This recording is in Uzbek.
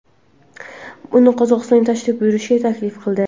uni Qozog‘istonga tashrif buyurishga taklif qildi.